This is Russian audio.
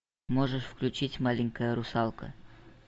можешь включить маленькая русалка